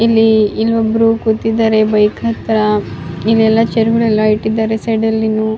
ಇಲ್ಲಿ ಇನ್ನೊಬ್ರು ಕೂತಿದ್ದಾರೆ ಬೈಕ್ ಹತ್ರ ಇಲ್ಲೆಲ್ಲಾ ಚೇರ್ ಗಳು ಎಲ್ಲ ಇಟ್ಟಿದ್ದಾರೆ ಸೈಡ್ ಅಲ್ಲಿ ನೂ --